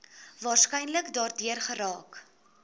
waarskynlik daardeur geraak